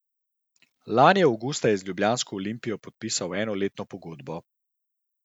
Lani avgusta je z ljubljansko Olimpijo podpisal enoletno pogodbo.